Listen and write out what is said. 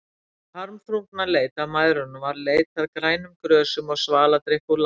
Hin harmþrungna leit að mæðrunum varð leit að grænum grösum og svaladrykk úr læk.